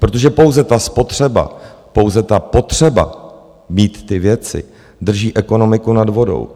Protože pouze ta spotřeba, pouze ta potřeba mít ty věci, drží ekonomiku nad vodou.